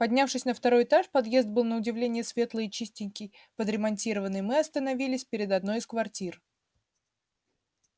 поднявшись на второй этаж подъезд был на удивление светлый и чистенький подремонтированный мы остановились перед одной из квартир